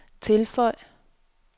tilføj